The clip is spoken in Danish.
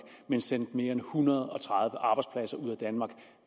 men sendte mere end en hundrede og tredive arbejdspladser ud af danmark